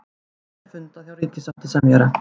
Enn er fundað hjá ríkissáttasemjara